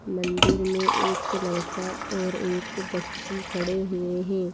मंदिर में एक लड़का और एक बच्ची खड़े हुए हैं।